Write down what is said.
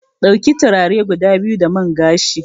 Dauki turare guda biyu da man gashi.